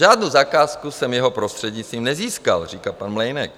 Žádnou zakázku jsem jeho prostřednictvím nezískal, říká pan Mlejnek.